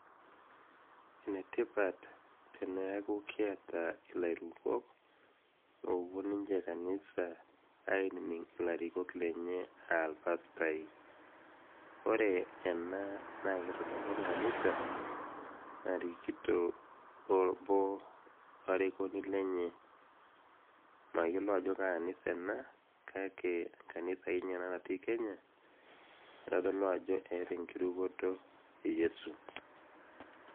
enetipat teneaku kiata ilairukok opuo ninche kanisa ainining ilarikok lenye aa ilpastai ore ena naa kitodolu enkanisa narikito obo arikoni lenye mayiolo ajo kaa anisa ena kake kanisa akeninye ena natii kenya naitodolu ajo eeta enkirukoto e yiesu.